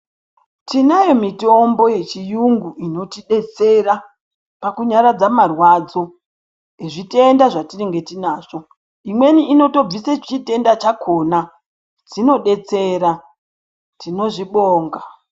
Tinayo mitombo yechiyungu inotidetsera pakunyaradza marwaradzo ezvitenda zvatinge tinazvo, imweni inotobvise chitenda chakona, zvinotidetsera, tinozvibonga.